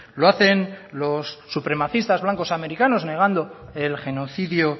lo hacen los supremacistas blancos americanos negando el genocidio